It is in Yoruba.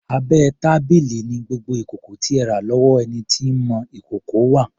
Abẹ́ tábìlì ni gbogbo ìkòkò tí ẹ rà lọ́wọ́ ẹni tí ń mọ ìkòkò wà.